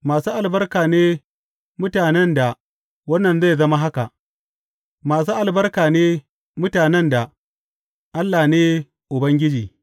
Masu albarka ne mutanen da wannan zai zama haka; masu albarka ne mutanen da Allah ne Ubangiji.